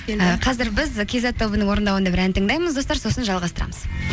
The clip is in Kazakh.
і қазір біз кизет тобының орындауында бір ән тыңдаймыз достар сосын жалғастырамыз